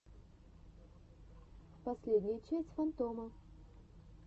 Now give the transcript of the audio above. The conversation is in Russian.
последняя часть фантома